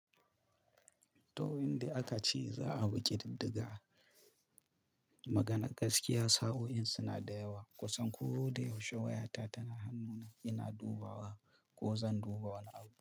To, inda aka ce za a bi ƙi diddiga. Maganar gaskiya, sa'o'in suna da yawa. Kusan koda yaushe wayata tana hannuna, ina dubawa ko zan duba wani abu.